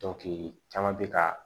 caman bɛ ka